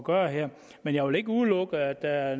gøre her men jeg vil ikke udelukke at der er